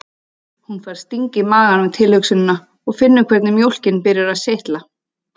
Hún fær sting í magann við tilhugsunina og finnur hvernig mjólkin byrjar að seytla